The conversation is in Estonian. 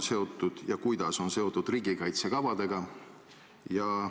Kas ja kuidas on see plaan seotud riigikaitsekavadega?